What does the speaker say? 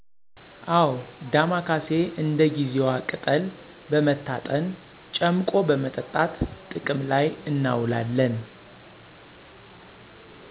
አወ ዳማካሴ እንደ ጊዜዋ ቅጠል በመታጠን ጨምቆ በመጠጣት ጥቅም ላይ እናዉላለን